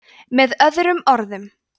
með öðrum orðum